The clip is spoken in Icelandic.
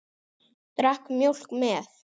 Drakk mjólk með.